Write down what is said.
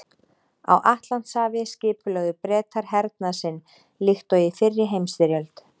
Á Atlantshafi skipulögðu Bretar hernað sinn líkt og í fyrri heimsstyrjöld.